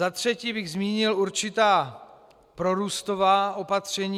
Za třetí bych zmínil určitá prorůstová opatření.